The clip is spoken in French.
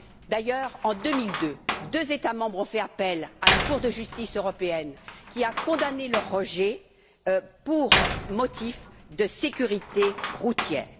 D'ailleurs, en 2002, deux États membres ont fait appel près la Cour de justice européenne qui a condamné le rejet pour motif de sécurité routière.